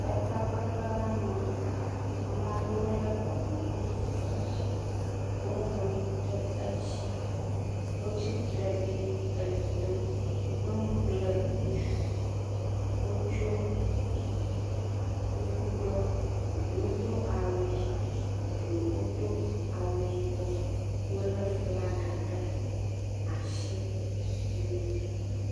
Le takpekpe la me, ame aɖewo lé gbalẽgo vuvu ɖe asi, woŋlɔnuwo ɖe edzi, wotsitre ɖi le ʋli dom, nyɔnu kple ŋutsu wotso kuku ɖɔ, eɖewo do awu ʋi eɖewo do awu yibɔ wolé flaga ɖe asi eʋli dom.